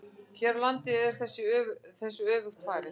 Hér á landi er þessu öfugt farið.